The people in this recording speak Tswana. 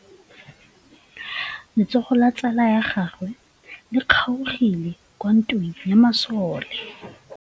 Letsôgô la tsala ya gagwe le kgaogile kwa ntweng ya masole.